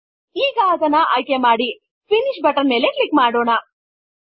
ಈಗ ಅದನ್ನು ಆಯ್ಕೆ ಮಾಡಿ ಫಿನಿಶ್ ಬಟನ್ ಮೇಲೆ ಕ್ಲಿಕ್ ಮಾಡೋಣ